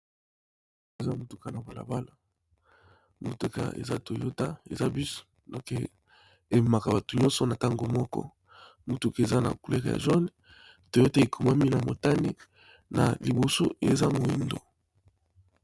Eza motuka na balabala motuka eza toyota eza busu noke eemaka bato nyonso na ntango moko motuka eza na coulere ya jone toyote ekomwami na motani na liboso eza moindo.